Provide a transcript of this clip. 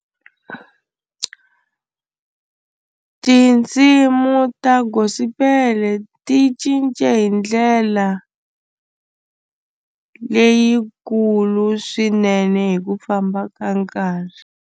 Tinsimu ta gospel ti cince hi ndlela leyikulu swinene hi ku famba ka nkarhi.